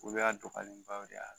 Olu y'a dɔgɔyalenbaw de y'a la